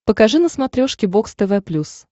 покажи на смотрешке бокс тв плюс